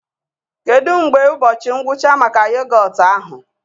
Kedu mgbe ụbọchị ngwụcha maka yogọt ahụ?